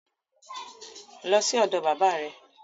Lọ sí ọ̀dọ̀ bàbá rẹ